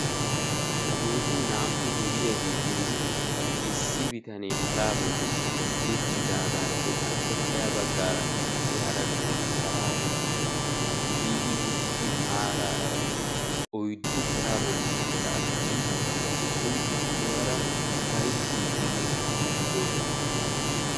hageeti naa"u duriyageetinne issi bitane paraa bolli uttidaagaappe appekka ya baggaarakka qassi hara bitanee paraa bolli biidi uttidi maaraara oyiddu paraa bolli uttida asati issoy issuwaara ufayittiiddinne kaa'iiddi doosona.